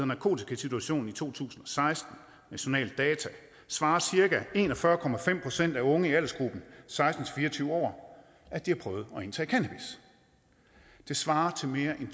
narkotikasituationen i danmark to tusind og seksten nationale data svarede cirka en og fyrre procent af unge i aldersgruppen seksten til fire og tyve år at de har prøvet at indtage cannabis det svarer til mere end